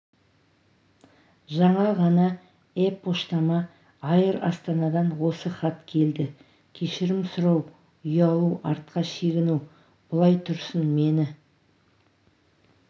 жаңа ғана э-поштама айр астанадан осы хат келді кешірім сұрау ұялу артқа шегіну бұлай тұрсын мені